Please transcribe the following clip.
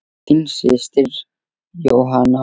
Þín systir Jóhanna Ósk.